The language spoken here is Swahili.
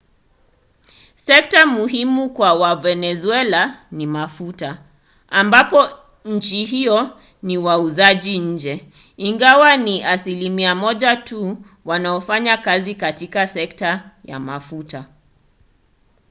sekta muhimu kwa wavenezuela ni mafuta ambapo nchi hiyo ni wauzaji nje ingawa ni asilimia moja tu wanaofanya kazi katika sekta ya mafuta